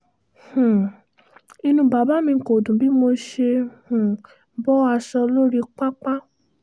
um inú bàbá mi kò dùn bí mo ṣe um bọ aṣọ lórí pápá